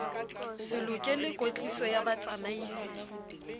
so lokele kwetliso ya batsamaisi